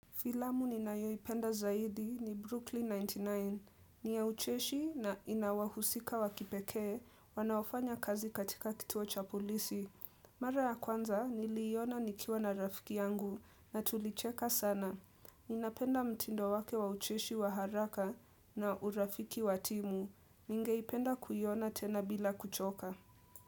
Filamu ni ninayoipenda zaidi ni Brooklyn 99. Ni ya ucheshi na inawahusika wakipekee, wanaofanya kazi katika kituo cha polisi. Mara ya kwanza, niliiona nikiwa na rafiki yangu na tulicheka sana. Ninapenda mtindo wake wa ucheshi wa haraka na urafiki wa timu. Ningeipenda kuiona tena bila kuchoka.